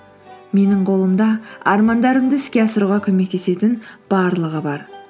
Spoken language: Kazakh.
менің қолымда армандарымды іске асыруға көмектесетін барлығы бар